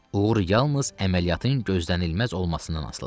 Uğur yalnız əməliyyatın gözlənilməz olmasından asılıdır.